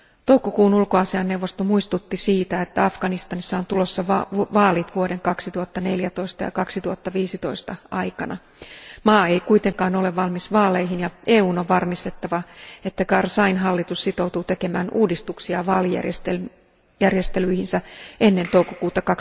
Toukokuun ulkoasiainneuvosto muistutti siitä, että Afganistanissa on tulossa vaalit vuoden 2014 ja 2015 aikana. Maa ei kuitenkaan ole valmis vaaleihin, ja EUn on varmistettava, että Karzain hallitus sitoutuu tekemään uudistuksia vaalijärjestelyihinsä ennen toukokuuta